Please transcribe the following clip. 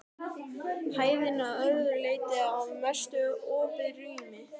Hæðin að öðru leyti að mestu opið rými.